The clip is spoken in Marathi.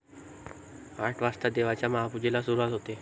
आठ वाजता देवाच्या महापूजेला सुरुवात होते.